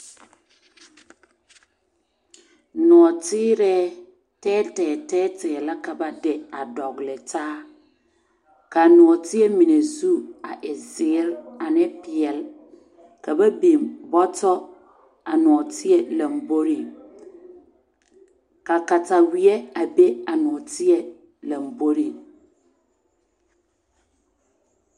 Nɔɔtirɛɛ tɛɛtɛɛ la ka ba de a dɔgle taa ka a nɔɔteɛ mine zu a e zēēre ane peɛl ka ba biŋ bɔtɔ a tɔɔteɛ lamboriŋ ka kataweɛ a be a nɔɔteɛ lamboriŋ.